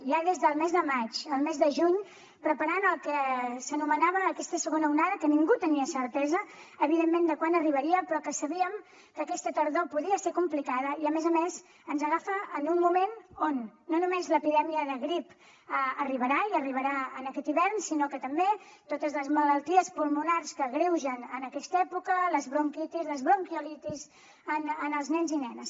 ja des del mes de maig el mes de juny preparàvem el que s’anomenava aquesta segona onada que ningú tenia certesa evidentment de quan arribaria però que sabíem que aquesta tardor podia ser complicada i a més a més ens agafa en un moment on no només l’epidèmia de grip arribarà i arribarà aquest hivern sinó que també totes les malalties pulmonars que s’agreugen en aquesta època les bronquitis les bronquiolitis en els nens i nenes